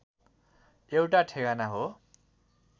एउटा ठेगाना हो